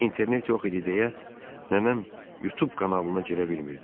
İnternet yox idi deyə nənəm YouTube kanalına girə bilmirdi.